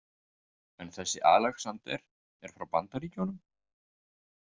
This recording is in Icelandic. En þessi Alexander er frá Bandaríkjunum?